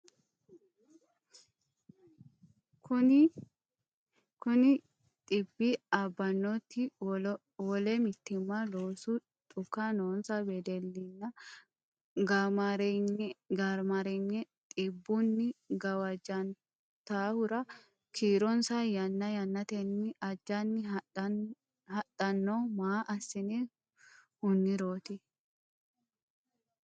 Kuni dhibbi abbannoti wole mitiimma, loosoho dhuku noonsa wedellinna gaamaareeyye dhibbunni gawajjanturo kiironsa yanna yannatenni ajjanni hadhanno maa assine huniroti?